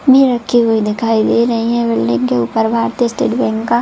में रखी हुई दिखाई दे रही है बिल्डिंग के ऊपर भारतीय स्टेट बैंक का--